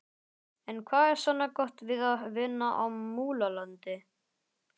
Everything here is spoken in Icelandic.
En hvað er svona gott við að vinna á Múlalundi?